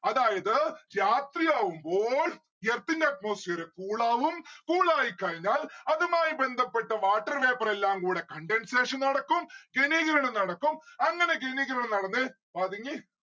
അതായത് രാത്രിയാവുമ്പോൾ earth ന്റെ atmospherecool ആവും cool ആയിക്കഴിഞ്ഞാൽ അതുമായി ബന്ധപ്പെട്ട water vapour എല്ലാം കൂടെ condensation നടക്കും ഘനീകരണം നടക്കും അങ്ങനെ ഘനീകരണം നടന്ന്‌ പതുങ്ങി